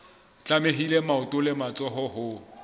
tlamehile maoto le matsoho ho